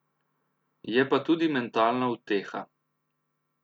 Je pa tudi mentalna uteha.